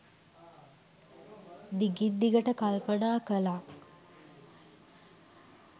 දිගින් දිගට කල්පනා කළා.